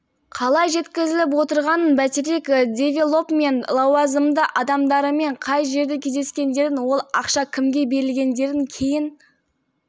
қалай жеткізіліп отырғанын бәйтерек девелопмент лауазымды адамдарымен қай жерде кездескендерін ол ақша кімге берілгендерін кейін